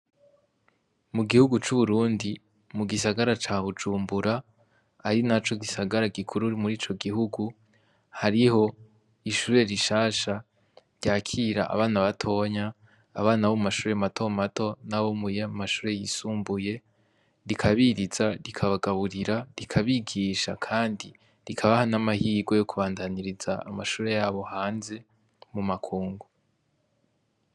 Mu gihugu c’uburundi, mu gisagara ca bujumbura, ari naco gisagara gikuru muri ico gihugu, hariho ishure rishasha ryakira abana batoya, abana bo mu mashure mato mato, n’abo mu mashure yisumbuye. Rikabiriza, rikabagaburira, rikabigisha, kandi rikabaha n’amahirwe yo kubandaniriza amashure yabo hanze, mu makungu.